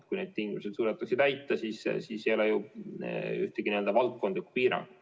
Kui neid tingimusi täita, siis ei ole ju ühtegi valdkondlikku piirangut.